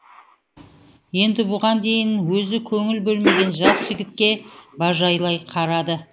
енді бұған дейін өзі көңіл бөлмеген жас жігітке бажайлай қарады